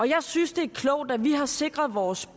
jeg synes det er klogt at vi har sikret vores